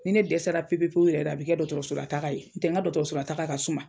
Ni ne dɛsɛra pepepeyu yɛrɛ de i bɛ kɛ dɔgɔtɔrɔsolataga ye n'o tɛ n ka dɔgɔtɔrɔsotaga ka suma.